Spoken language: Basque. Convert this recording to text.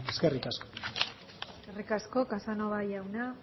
eskerrik asko eskerrik asko casanova jauna